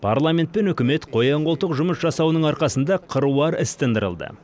парламент пен үкімет қоян қолтық жұмыс жасауының арқасында қыруар іс тындырылды